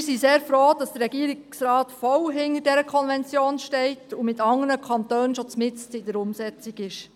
Wir sind sehr froh, dass der Regierungsrat voll hinter der Istanbul-Konvention steht und mit anderen Kantonen bereits mitten in der Umsetzung ist.